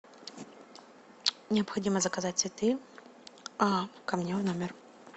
необходимо заказать цветы ко мне в номер